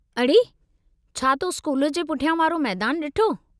अड़े, छा तो स्कूल जे पुठियां वारो मैदानु ॾिठो?